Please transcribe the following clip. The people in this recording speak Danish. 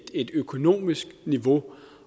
et økonomisk niveau